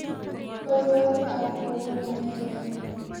konyoru ak ko bo noe raini.